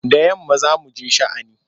Da yamma za mu je sha'ani.